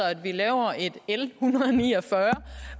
at vi laver et l en hundrede og ni og fyrre